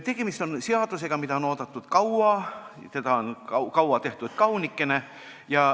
Tegemist on seadusega, mida on oodatud kaua, see on kaua tehtud kaunikene.